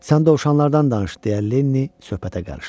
Sən dovşanlardan danış, deyə Leni söhbətə qarışdı.